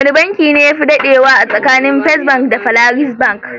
Wane banki ne yafi dadewa tsakanin First bank da Polaris bank?